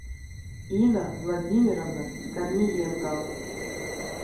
инна владимировна корниенкова